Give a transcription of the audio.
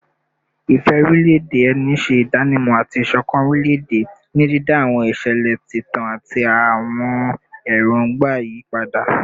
Ìfẹ́ orílẹ̀-èdè ẹni ṣe ìdánimọ̀ àti ìṣọ̀kan orílẹ̀-èdè, ní dídá àwọn ìṣẹ̀lẹ̀ ìtàn àti àwọn èròǹgbà yí padà